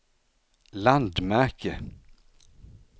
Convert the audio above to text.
landmärke